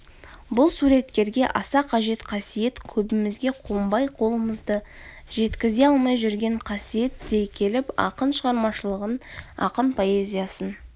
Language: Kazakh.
бұл суреткерге аса қажет қасиет көбімізге қонбай қолымызды жеткізе алмай жүрген қасиет дей келіп ақын шығармашылығын ақын поэзиясын